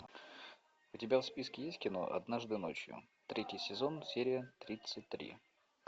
у тебя в списке есть кино однажды ночью третий сезон серия тридцать три